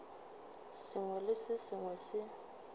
sengwe le se sengwe se